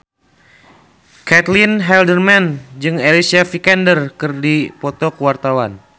Caitlin Halderman jeung Alicia Vikander keur dipoto ku wartawan